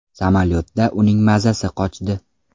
Samolyotda uning mazasi qochdi.